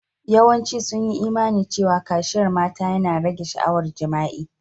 Yawancin sun yi Imani cewa kaciyar mata yana rage sha'awar jima'i.